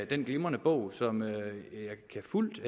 den glimrende bog som jeg fuldt